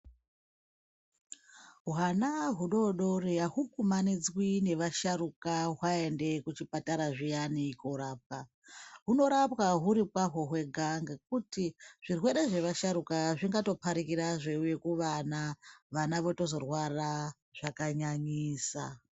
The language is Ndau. Hwana hudodori ahukumanidzwi nevasharukwa hwaende kuchipatara zviyani korapwa. Hunorapwa huri kwaho hwega ngekuti zvirwere zvevasharukwa zvingatopharikira zveiuya kuvana. Vana votozorwara zvakanyanyisa.